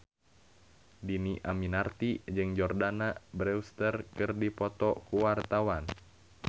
Dhini Aminarti jeung Jordana Brewster keur dipoto ku wartawan